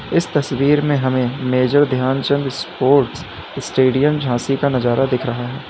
इस तस्वीर में हमे Major Dhyanchand sports stadium Jhansi का नजारा दिख रहा है।